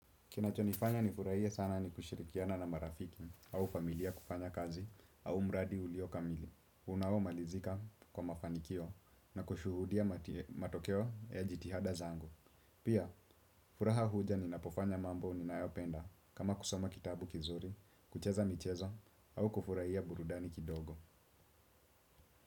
Kinacho nifanya nifurahia sana ni kushirikiana na marafiki au familia kufanya kazi au mradi ulio kamili. Unao malizika kwa mafanikio na kushuhudia matokeo ya jitihada zangu. Pia, furaha huja ninapofanya mambo ninaopenda kama kusoma kitabu kizuri, kucheza michezo au kufurahia burudani kidogo.